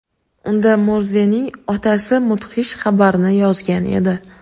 Unda Morzening otasi mudhish xabarni yozgan edi.